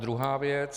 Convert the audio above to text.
Druhá věc.